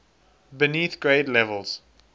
beneath grade levels